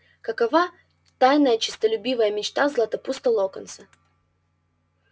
какова тайная честолюбивая мечта златопуста локонса